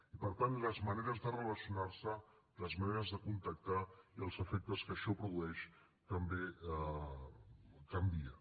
i per tant les maneres de relacionar se les maneres de contactar i els efectes que això produeix també canvien